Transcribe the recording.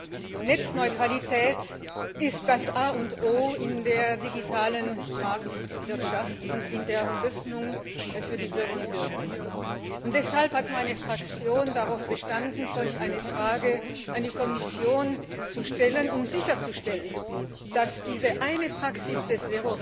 Herr Präsident! Netzneutralität ist das A und O in der digitalen Marktwirtschaft und in der Öffnung für die Bürger und Bürgerinnen. Deshalb hat meine Fraktion darauf bestanden, solch eine Frage an die Kommission zu stellen, um sicherzustellen, dass diese eine Praxis des